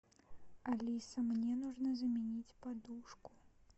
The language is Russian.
алиса мне нужно заменить подушку